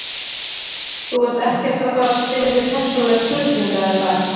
Þú ert ekkert að fara spyrja mig persónulegra spurninga er það?